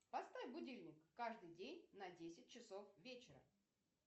поставь будильник каждый день на десять часов вечера